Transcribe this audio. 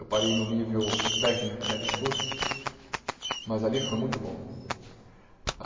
Eu parei no nível técnico né de estudo, mas ali foi muito bom.